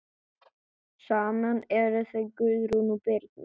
Saman eru þau Guðrún Birna.